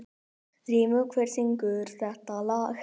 Þrymur, hver syngur þetta lag?